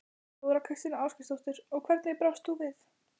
Þóra Kristín Ásgeirsdóttir: Og hvernig brást þú við?